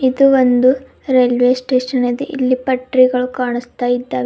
ಇದು ಒಂದು railway station ಅದೇ ಇಲ್ಲಿ ಪಟ್ರಿಗಳು ಕಾಣಸ್ತಾಇದ್ದಾವೆ.